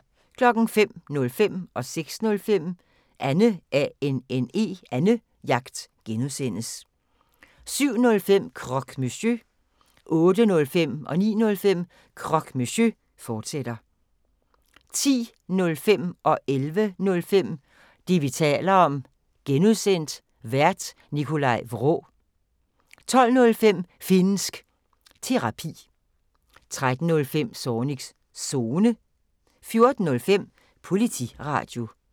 05:05: Annejagt (G) 06:05: Annejagt (G) 07:05: Croque Monsieur 08:05: Croque Monsieur, fortsat 09:05: Croque Monsieur, fortsat 10:05: Det, vi taler om (G) Vært: Nikolaj Vraa 11:05: Det, vi taler om (G) Vært: Nikolaj Vraa 12:05: Finnsk Terapi 13:05: Zornigs Zone 14:05: Politiradio